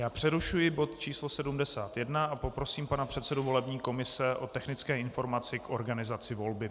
Já přerušuji bod číslo 71 a poprosím pana předsedu volební komise o technické informace k organizaci volby.